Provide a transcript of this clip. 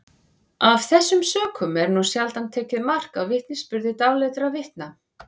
af þessum sökum er nú sjaldan tekið mark á vitnisburði dáleiddra vitna